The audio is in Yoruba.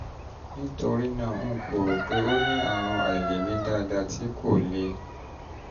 nítorí náà n kò rò pé o ní àrùn àìlèmí dáadáa tí kò le